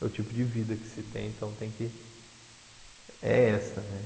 É o tipo de vida que se tem, então tem que... É essa, né?